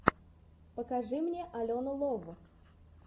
покажи мне алену лов